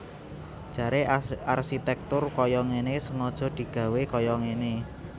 Jaré arsitèktur kaya ngéné sengaja digawé kaya ngéné